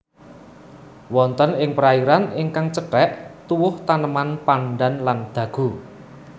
Wonten ing perairan ingkang cethek tuwuh taneman pandan lan dagu